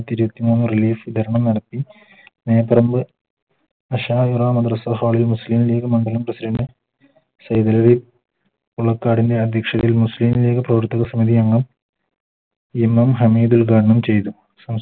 ഇരുപത്തി മൂന്ന് Release നടത്തി നേത്രം മുസ്ലിം ലീഗ് മണ്ഡലം Prasident അധ്യക്ഷതയിൽ MM ഹമീദ് ഉദ്‌ഘാടനം ചെയ്തു